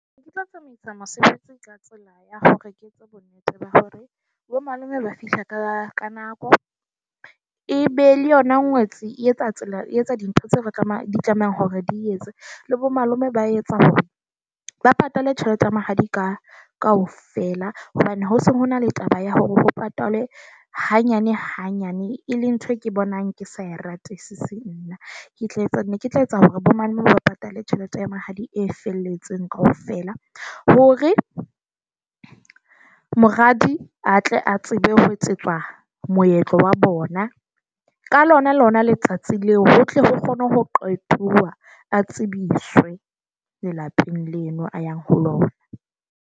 Ne ke tlo tsamaisa mosebetsi ka tsela ya hore ke etse bonnete ba hore bomalome ba fihla ka ka nako, e be le yona ngwetsi e etsa tsela e etsa dintho tseo re tsamaya di tlamehang hore di etse. Le bomalome ba etsa hore ba patale tjhelete ya mahadi ka kaofela. Hobane ho se ho na le taba ya hore ho patalwe hanyane hanyane, e le ntho e ke bonang ke sa e ratesise nna. Ne ke tla etsa ne ke tla etsa hore bo mane moo ba patale tjhelete ya mahadi e felletseng kaofela . Hore moradi a tle a tsebe ho etsetswa moetlo wa bona ka lonalona letsatsi leo, ho tle ho kgone ho qetoa, a tsebiswe lelapeng leno , a yang ho lona.